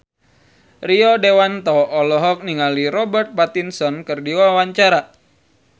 Rio Dewanto olohok ningali Robert Pattinson keur diwawancara